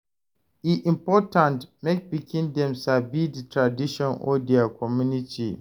E important mek pikin dem sabi de tradition of dia community.